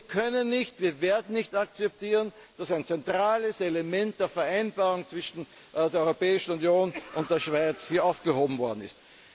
Wir können und werden nicht akzeptieren, dass ein zentrales Element der Vereinbarung zwischen der Europäischen Union und der Schweiz hier aufgehoben worden ist.